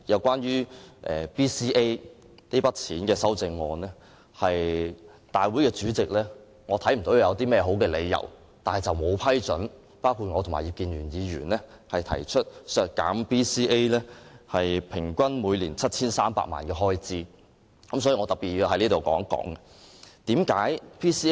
關於 BCA 撥款的修正案，我看不到立法會主席有任何好的理由，不批准我和葉建源議員提出修正案，削減 BCA 平均每年 7,300 萬元的開支，因此，我要特別在這裏說說此事。